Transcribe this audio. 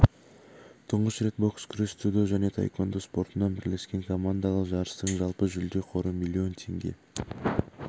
тұңғыш рет бокс күрес дзюдо және таеквондо спортынан бірлескен командалық жарыстың жалпы жүлде қоры миллион теңге